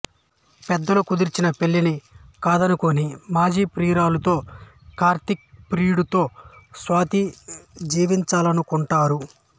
పెద్దలు కుదిర్చిన పెళ్ళిని కాదనుకుని మాజీ ప్రియురాలితో కార్తీక్ ప్రియుడితో స్వాతి జీవించాలనుకుంటారు